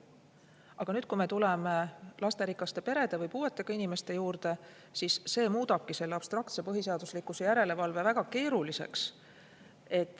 Aga kui me tuleme lasterikaste perede ja puuetega inimeste juurde, siis muutub see abstraktne põhiseaduslikkuse järelevalve väga keeruliseks.